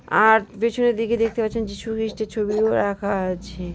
আর পেছনের দিকে দেখতে পাচ্ছেন যিশুখ্রিস্টের ছবিও রাখা আছে ।